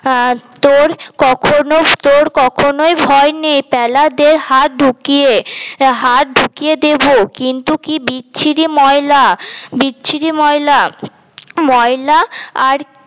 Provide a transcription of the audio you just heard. আহ তোর কখন তোর কখনই ভয় নেই প্যালা দে হাত ঢুকিয়ে হাত ঢুকিয়ে দেব কিন্তু কি বিচ্ছিরি ময়লা বিচ্ছিরি ময়লা ময়লা আর